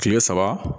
Kile saba